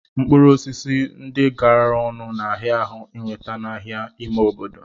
Mkpụrụ osisi ndi garara ọnụ n'ahia ahu iweta n'ahia ime obodo